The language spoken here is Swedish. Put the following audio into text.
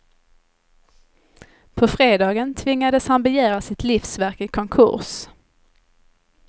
På fredagen tvingades han begära sitt livsverk i konkurs.